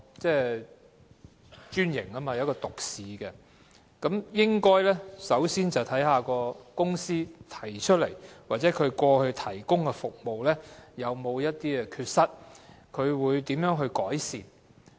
專營代表獨市經營，故應該首先看看該公司過去提供的服務有否缺失及會如何改善。